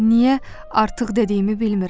Niyə artıq dediyimi bilmirəm.